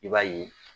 I b'a ye